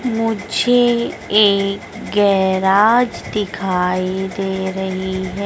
मुझे एक गैराज दिखाई दे रही है।